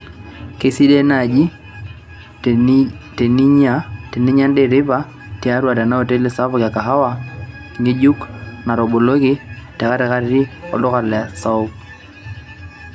keisidai naaji tenjinyia endaa eteipa tiatua tena oteli sapuk e kahawa ngejuk nataboloki tekatikati e olduka saouk